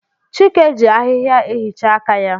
Chike ji ahịhịa ehichaa aka ya.